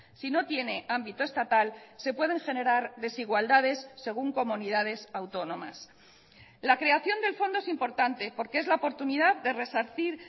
sino tiene ámbito estatal se pueden generar desigualdades según comunidades autónomas la creación del fondo es importante porque es la oportunidad de resarcir